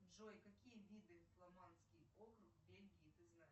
джой какие виды фламандский округ бельгии ты знаешь